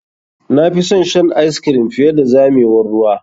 Na fi son shan ice cream fiye da zamewar ruwa.